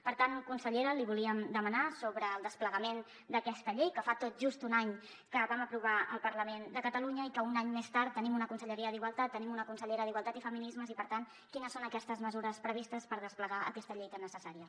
per tant consellera li volíem demanar sobre el desplegament d’aquesta llei que fa tot just un any que vam aprovar al parlament de catalunya i que un any més tard tenim una conselleria d’igualtat tenim una consellera d’igualtat i feminismes i per tant quines són aquestes mesures previstes per desplegar aquesta llei tan necessària